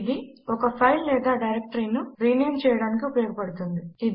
ఇది ఒక ఫైల్ లేదా డైరెక్టరీ ను రీనేమ్ చేయటానికి ఉపయోగపడుతుంది